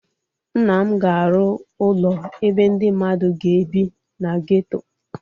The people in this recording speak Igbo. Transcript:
Nna m ga-arụ ụlọ ebe ndị mmadụ ga-ebi na geto.